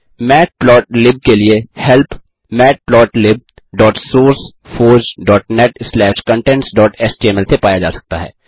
matplotlib के लिए help matplotlibsourceforgenetcontentsएचटीएमएल से पाया जा सकता है